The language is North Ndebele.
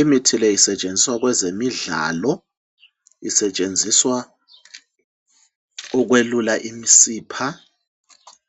Imithi le isetshenziswa kwezemidlalo, isetshenziswa ukwelula imisipha